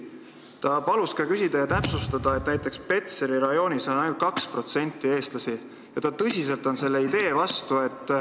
Ta palus ka täpsustada, et näiteks Petseri rajoonis on ainult 2% eestlasi, ja ta on tõsiselt selle idee vastu.